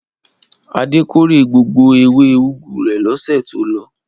Adé kórè gbogbo ewé úgú rẹ̀ lọ́sẹ̀ tó lọ.